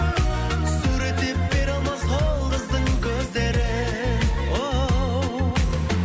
суреттеп бере алмас ол қыздың көздерін оу